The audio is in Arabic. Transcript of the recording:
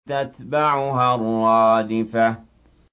تَتْبَعُهَا الرَّادِفَةُ